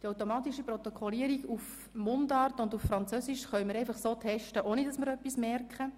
Wir können diese in Mundart und Französisch testen, ohne dass wir hier im Rat etwas davon bemerken.